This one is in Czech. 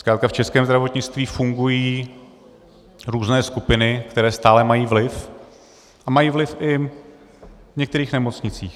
Zkrátka v českém zdravotnictví fungují různé skupiny, které stále mají vliv, a mají vliv i v některých nemocnicích.